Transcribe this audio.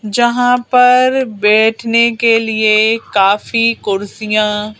जहां पर बैठने के लिए काफी कुर्सियां--